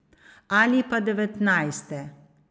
Ali pa devetnajste.